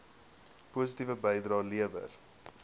positiewe bydrae lewer